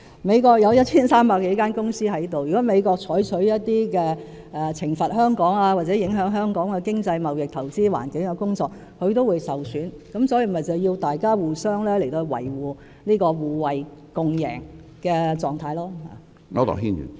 美國有 1,300 多間公司在香港，如果美國採取一些懲罰香港或影響香港經濟貿易和投資環境的措施，它亦會受損，所以需要大家互相維護這種互惠共贏的狀態。